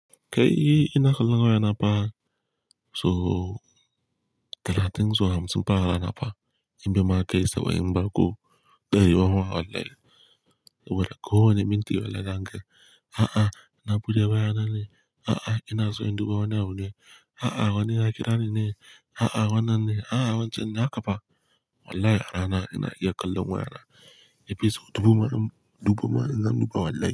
Kai ina kallon waya na ba so talatin zuwa hamsin pa rana fa in bima kai saba'in bako dayiwa ma wallahi. Ko Wani minti wallahi da hankali. A'a, na buɗe waya na ne. A'a ina so in dubo wani abu ne. A'a wannan ya kira ni ne. A'a wannan ne. A'a wancan ne haka fa. Wallahi a rana ina iya kallon waya na. Yanzu dubo ma zan dubo ma zan duba wallahi.